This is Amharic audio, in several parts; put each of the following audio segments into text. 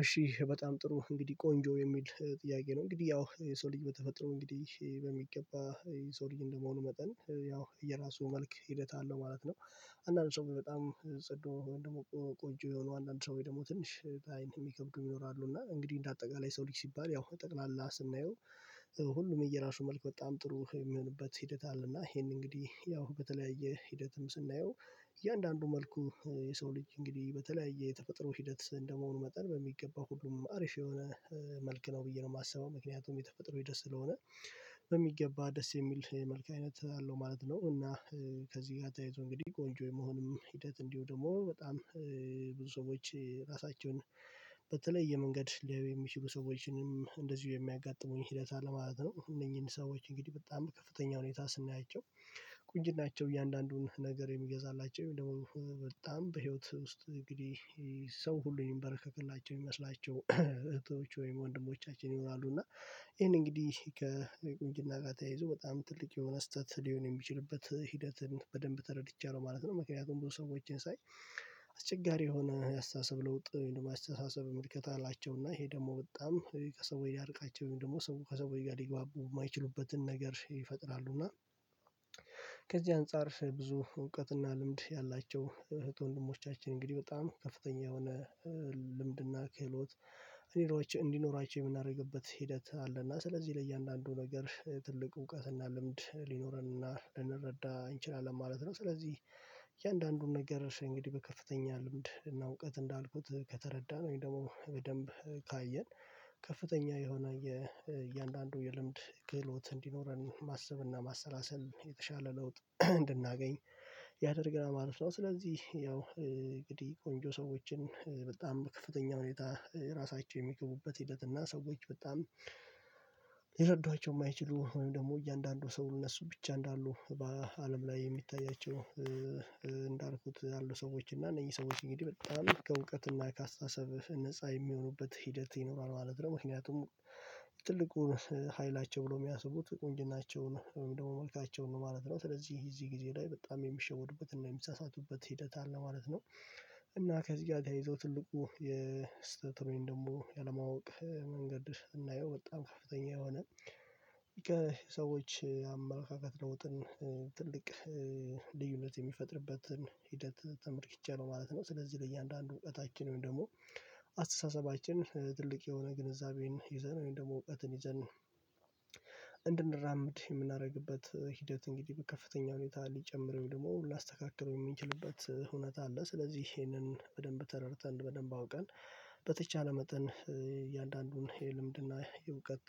እሺ በጣም ጥሩ እንግዲህ ቆንጆ የሚል ጥያቄ ነው እንግዲህ ያው የሰው ልጅ በተፈጠረው እንግዲህ በሚገባ የሰው ልጅ እንደመሆኑ መጠን ያው የራሱ መልክ ሂደት አለው ማለት ነው። አንዳንድ ሰው በጣም ጽዱ ወይም ደግሞ ቆንጆ የሆነው አንዳንድ ሰው ወይም ደግሞ ትንሽ ለአይን የሚከብዱ ይኖራሉ እና እንግዲህ እንደ አጠቃላይ ሰው ልጅ ሲባል ያው ጠቅላላ ስናየው። ሁሉም የየራሱ መልክ በጣም ጥሩ የሚሆንበት ሂደት አለ እና ይሄን እንግዲህ ያው በተለያየ ሂደትም ስናየው እያንዳንዱ መልኩ የሰው ልጅ እንግዲህ በተለያየ የተፈጥሮ ሂደት እንደመሆኑ መጠን በሚገባ ሁሉም አሪፍ የሆነ መልክ ነው ብዬ ነው የማስበው ምክንያቱም የተፈጠረው ደስ ስለሆነ። በሚገባ ደስ የሚል የመልክ አይነት አለው ማለት ነው እና። ከዚህ ጋር ተያይዞ እንግዲህ ቆንጆ የመሆንም ሂደት እንዲሁ ደግሞ በጣም ብዙ ሰዎች ራሳቸውን በተለየ መንገድ ሊያዩ የሚችሉ ሰዎችንም እንደዚሁ የሚያጋጥሙኝ ሂደት አለ ማለት ነው። እነዚህን ሰዎች እንግዲህ በጣም ከፍተኛ ሁኔታ ስናያቸው ቁንጅናቸው እያንዳንዱን ነገር የሚገዛላቸው ደግሞ በጣም በህይወት ውስጥ እንግዲህ ሰው ሁሉ ይንበረከክላቸው ይመስላቸው እህቶች ወይም ወንድሞቻችን ይሆናሉ እና። ይሄን እንግዲህ ከቁንጅና ጋር ተያይዞ በጣም ትልቅ የሆነ ስህተት ሊሆን የሚችልበት ሂደትን በደንብ ተረድቻለሁ ማለት ነው። ምክንያቱም ብዙ ሰዎችን ሳይ አስቸጋሪ የሆነ አስተሳሰብ ለውጥ አስተሳሰብ ምልከታ አላቸውና ይሄ ደግሞ በጣም ከሰዎች ሊያርቃቸው ደግሞ ከሰው ከሰዎች ጋር ሊግባቡ የማይችሉበትን ነገር ይፈጥራሉ እና። ከዚህ አንፃር ብዙ እውቀትና ልምድ ያላቸው እህት ወንድሞቻችን እንግዲህ በጣም ከፍተኛ የሆነ ልምድና ክህሎት እንዲኖራቸው የምናደርግበት ሂደት አለና ስለዚህ ለእያንዳንዱ ነገር ትልቅ እውቀትና ልምድ ሊኖረንና ልንረዳ እንችላለን ማለት ነው፤ ስለዚህ እያንዳንዱን ነገር እንግዲህ በከፍተኛ ልምድ እና እውቀት እንዳልኩት ከተረዳን ወይም ደግሞ በደንብ ካየን ከፍተኛ የሆነ የእያንዳንዱ የልምድ ክህሎት እንዲኖረን ማሰብና ማሰላሰል የተሻለ ለውጥ እንድናገኝ ያደርግናል ማለት ነው፣ ስለዚህ ያው እንግዲህ ቆንጆ ሰዎችን በጣም በክፍተኛ ሁኔታ ራሳቸው የሚገቡበት ሂደት እና ሰዎች በጣም ሊረዷቸው የማይችሉ ወይም ደግሞ እያንዳንዱ ሰው እነሱ ብቻ እንዳሉ በአለም ላይ የሚታያቸው እንዳልኩት ያሉ ሰዎች እና እነዚህ ሰዎች እንግዲህ በጣም ከእውቀትና ከአስተሳሰብ ነፃ የሚሆኑበት ሂደት ይኖራል ማለት ነው። ምክንያቱም ትልቁን ሀይላቸው ብለው የሚያስቡት ቁንጅናቸውን ደግሞ መልካቸውን ነው ማለት ነው ስለዚህ እዚህ ጊዜ ላይ በጣም የሚሸወዱበት የሚሳሳቱበት ሂደት አለ ማለት ነው። እና ከዚህ ጋር ተያይዞ ትልቁ የስህተት ደግሞ ያለማወቅ መንገድ ስናየው በጣም ከፍተኛ የሆነ ከሰዎች አመለካከት ለውጥን ትልቅ ልዩነት የሚፈጥርበትን ሂደት ተመርክቼ ነው ማለት ነው። ስለዚህ ለእያንዳንዱ እዉቀታችን ወይም ደግሞ ትልቅ የሆነ ግንዛቤን ይዘን ወይም ደግሞ እውቀትን ይዘን እንድንራምድ የምናደርግበት ሂደት እንግዲህ ከፍተኛ ሁኔታ ሊጨምረኝ ደግሞ ላስተካክለው የሚንችልበት ሁኔታ አለ። ስለዚህ ይሄንን በደንብ ተረድተን በደንብ አውቀን በተቻለ መጠን የእያንዳንዱን የልምድና የእውቀት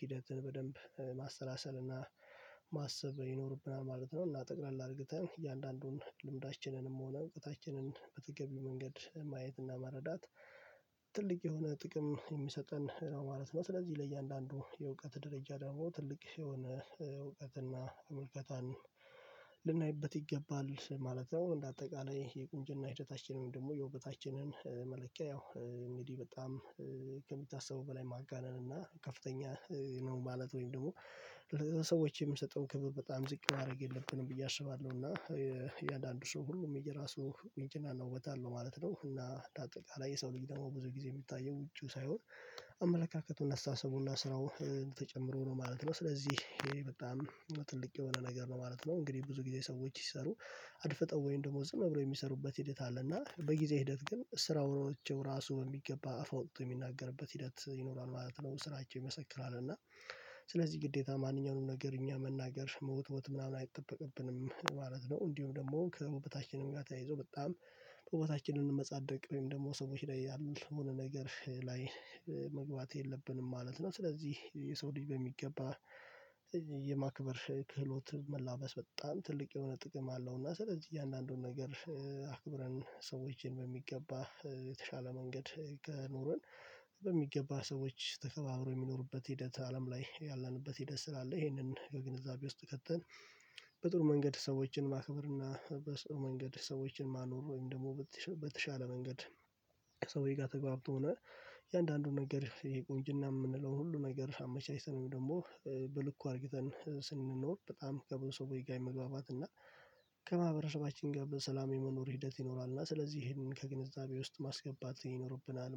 ሂደትን በደንብ ማሰላሰል እና ማሰብ ይኖርብናል ማለት ነው። እና ጠቅለል አድርገን እያንዳንዱን ልምዳችንንም ሆነ እውቀታችንን በተገቢው መንገድ ማየትና መረዳት ትልቅ የሆነ ጥቅም የሚሰጠን ማለት ነው፣ ስለዚህ ለእያንዳንዱ የእውቀት ደረጃ ደግሞ ትልቅ የሆነ እውቀትና እውቀታን ልናይበት ይገባል ማለት ነው። እንደ አጠቃላይ የቁንጅና ሂደታችንን ደግሞ የውበታችንን መለኪያ ያው እንዲህ በጣም ከሚታሰበው በላይ ማጋነንና ከፍተኛ ነው ማለት ወይም ደግሞ ለሰዎች የምንሰጠውን ክብር በጣም ዝቅ ማድረግ የለብንም ብዬ አስባለሁ እና። የአንዳንድ ሰው ሁሉም የራሱ እንትንና አለው ዉበት አለው ማለት ነው። እና እንደ አጠቃላይ የሰው ልጅ ደግሞ ብዙ ጊዜ የሚታየው ውጪው ሳይሆን አመለካከቱና አስተሳሰቡንና ስራው ተጨምሮ ነው ማለት ነው። ስለዚህ ይሄ በጣም ትልቅ የሆነ ነገር ነው ማለት ነው። እንግዲህ ብዙ ጊዜ ሰዎች ሲሰሩ አድፍጠው ወይም ደግሞ ዝም ብለው የሚሰሩበት ሂደት አለና በጊዜ ሂደት ግን ስራው ራሱ በሚገባ አፍ አውጥቶ የሚናገርበት ሂደት ይኖራል ማለት ነው። ስራቸው ይመሰክራል እና ስለዚህ ግዴታ ማንኛውንም ነገር እኛ መናገር መወትወት ምናምን አይጠበቅብንም ማለት ነው። እንዲሁም ደግሞ ከዉበታችንም ጋር ተያይዞ በጣም በዉበታችን መመጻደቅ ወይም ደግሞ ሰዎች ላይ ያልሆነ ነገር ላይ መግባት የለብንም ማለት ነው። ስለዚህ የሰው ልጅ በሚገባ የማክበር ክህሎት መላበስ በጣም ትልቅ የሆነ ጥቅም አለው። እና ስለዚህ እያንዳንዱን ነገር አክብረን ሰዎችን በሚገባ የተሻለ መንገድ ከኖርን በሚገባ ሰዎች ተከባብረው የሚኖሩበት ሂደት አለም ላይ ያለንበት ሂደት ስላለ ይሄንን ከግንዛቤ ውስጥ ከተን። በጥሩ መንገድ ሰዎችን ማክብር እና በጥሩ መንገድ ሰዎችን ማኖሩ ወይም ደግሞ በተሻለ መንገድ ከሰዎች ጋር ተግባብቶ ሆኖ የእያንዳንዱ ነገር ይሄ ቁንጅና የምንለውን ሁሉ ነገር አመቻችተን ወይም ደግሞ በልኩ አድርግተን ስንኖር በጣም ከብዙ ሰዎች ጋር የመግባባት እና ከማህበረሰባችን ጋር በሰላሜ መኖር ሂደት ይኖራል እና ስለዚህ ይሄንን ከግንዛቤ ውስጥ ማስገባት ይኖርብናል ማለት ነው።